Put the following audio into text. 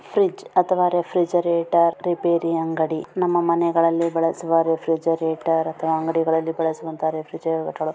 Fridge ಅಥವಾ refrigerator repair ಅಂಗಡಿ ನಮ್ಮ ಮನೆಗಳಲ್ಲಿ ಬಳಸುವ ರಿಫ್ರೆಜೆರೇಟರ್ ಅಥವಾ ಅಂಗಡಿಗಳಲ್ಲಿ ಬಳಸುವಂತ ರಿಫ್ರೆಜೆರೇಟರ್ .